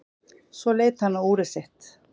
Svo leit hann á úrið sitt.